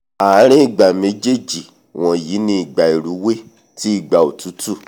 ààrin ìgbà méjéèjì wọ̀nyí ni ìgbà ìrúwé tí ìgbà òtútù